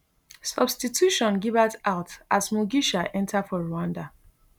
substitution gibert out as mugisha enta for rwanda